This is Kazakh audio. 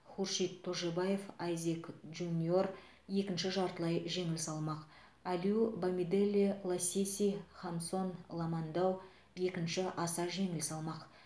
хуршид тожибаев айзек джуниор екінші жартылай жеңіл салмақ алиу бамиделе ласиси хамсон ламандау екінші аса жеңіл салмақ